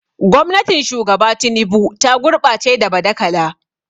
Gwamnatin Shugaba Tinubu ta gurɓace da badakala.